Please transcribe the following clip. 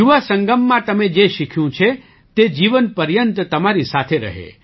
યુવા સંગમમાં તમે જે શીખ્યું છે તે જીવનપર્યંત તમારી સાથે રહે